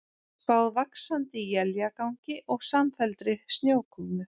Spáð vaxandi éljagangi og samfelldri snjókomu